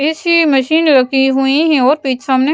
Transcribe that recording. AC machine रखी हुई हैं और पिछ सामने --